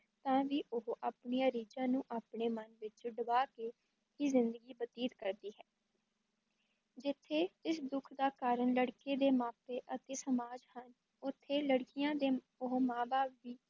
ਤਾਂ ਵੀ ਉਹ ਆਪਣੀਆਂ ਰੀਝਾਂ ਨੂੰ ਆਪਣੇ ਮਨ ਵਿਚ ਡੁਬਾ ਕੇ ਹੀ ਜ਼ਿੰਦਗੀ ਬਤੀਤ ਕਰਦੀ ਹੈ ਜਿੱਥੇ ਇਸ ਦੁੱਖ ਦਾ ਕਾਰਣ ਲੜਕੇ ਦੇ ਮਾਪੇ ਅਤੇ ਸਮਾਜ ਹਨ ਉਥੇ ਲੜਕੀਆਂ ਦੇ ਉਹ ਮਾਂ-ਬਾਪ ਵੀ